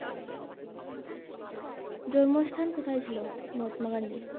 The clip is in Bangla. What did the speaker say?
জন্ম স্থান কোথায় ছিল মহাত্মা গান্ধীর?